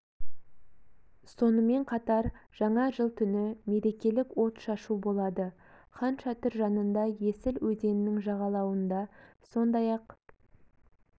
сонымен қатар жаңа жыл түні мерекелік от шашу болады хан шатыр жанында есіл өзенінің жағалауында сондай-ақ